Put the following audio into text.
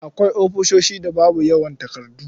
Akwai ofisoshin da babu yawan takardu.